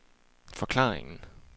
forklaringen